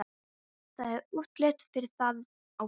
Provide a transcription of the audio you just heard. Það er útlit fyrir það, ástin.